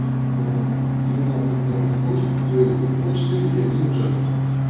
укрпочты и один джастин